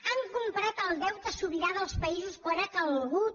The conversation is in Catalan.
han comprat el deute sobirà dels països quan ha calgut